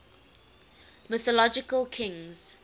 mythological kings